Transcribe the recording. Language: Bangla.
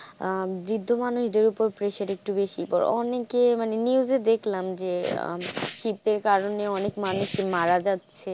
আহ বৃদ্ধ মানুষদের উপর pressure একটু বেশিই পরে অনেকেই news দেখলাম যে শীতের কারণে অনেক মানুষ মারা যাচ্ছে।